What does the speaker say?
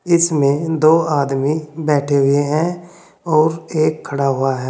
इसमें दो आदमी बैठे हुए हैं और एक खड़ा हुआ है।